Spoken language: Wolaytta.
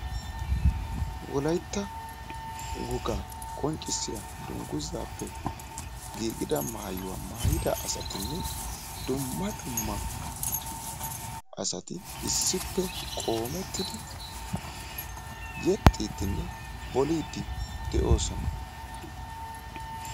Wolaytta wogaa qonccissiya dungguzappe giigida maayuwaa maayyidi asatinne duma dumma asati issippe qoommettidi yexxidinne bollidi de'oosona.